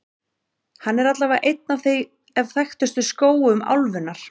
Hann er allavega einn af þekktustu skógum álfunnar.